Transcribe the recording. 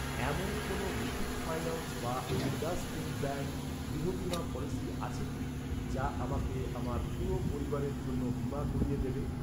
এমন কোন মুথুট ফাইন্যান্স বা ইন্ডাসইন্ড ব্যাঙ্ক, গৃহ বীমা পলিসি আছে কি, যা আমাকে আমার পুরো পরিবারের জন্য বীমা করিয়ে দেবে?